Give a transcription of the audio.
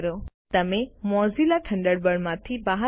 તમે મોઝિલા થન્ડરબર્ડમાંથી બહાર નીકળશો